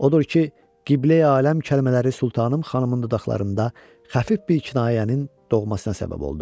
Odur ki, Qibləyi aləm kəlmələri Sultanım xanımın dodaqlarında xəfif bir kinayənin doğmasına səbəb oldu.